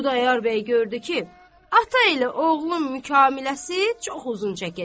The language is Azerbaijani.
Xudayar bəy gördü ki, ata elə oğlum müqamiləsi çox uzun çəkəcək.